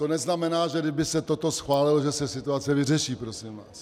To neznamená, že kdyby se toto schválilo, že se situace vyřeší, prosím vás.